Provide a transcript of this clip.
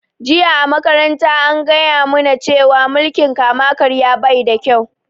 Jiya a makaranta an gaya mu na cewa mulkin kama karya baida kyau